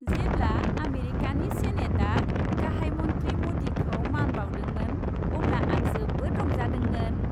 जेब्ला आमेरिकानि सेनेटआ गाहाय मन्थ्रि मदिखौ मान बाउदोंमोन अब्ला आं जोबोद रंजादोंमोन।